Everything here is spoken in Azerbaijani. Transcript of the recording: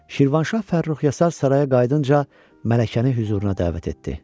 Şirvanşah Fərrux Yasar saraya qayıdınca Mələkəni hüzuruna dəvət etdi.